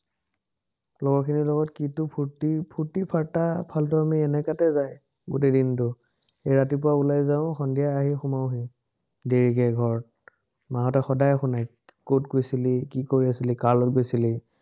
লগৰখিনিৰ লগত কিটো ফুৰ্টি, ফুৰ্টি-ফাৰ্টা ফালটুৱামি, এনেকাতে যায়। গোটেই দিনটো ৰাতিপুৱা ওলাই যাওঁ, সন্ধিয়া আহি সোমাওহি, দেৰিকে ঘৰ। মাহঁতে সদায় শুনায়। কত গৈছিলি, কি কৰি আছিলি, কাৰ লগত গৈছিলি